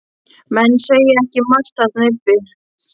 Menn segja ekki margt þarna uppi.